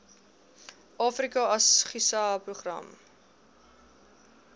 africa asgisa program